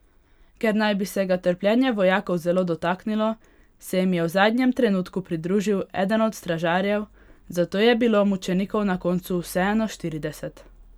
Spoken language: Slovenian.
Ker naj bi se ga trpljenje vojakov zelo dotaknilo, se jim je v zadnjem trenutku pridružil eden od stražarjev, zato je bilo mučenikov na koncu vseeno štirideset.